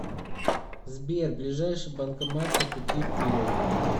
сбер ближайший банкомат по пути вперед